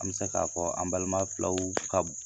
An bɛ se k'a fɔ an balima filaw ka